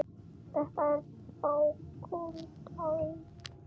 Þetta er bláköld alvara.